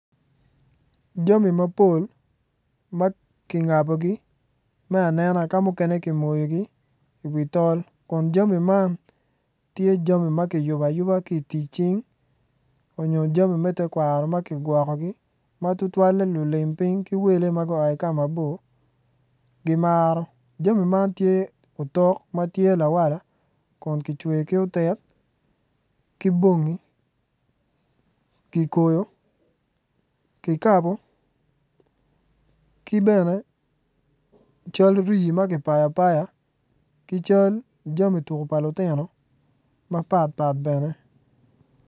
Jami mapol tye ki ngabogi i wi tol kun jami man tye jami ma kiyubo ayuba ki i tic cing nyo jami me tekwaro ma kigwokogi ma tutwalle lulim piny ki wele ma gua ki kamabor gimaro jami man tye otok ma tye lawala kun kicweyo ki otit ki bongi kikoyi, kikabo ki bene cal rii ma kipayo apaya ki cal jami tuko pa lutino mapatpat bene.